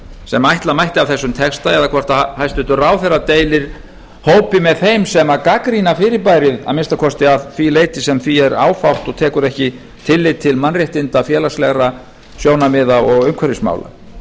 sem ætla mætti af þessum texta eða hvort hæstvirtur ráðherra deilir hópi með þeim sem gagnrýna fyrirbærið að minnsta kosti að því leyti sem því er áfátt og tekur ekki tillit til mannréttinda félagslegra sjónarmiða og umhverfismála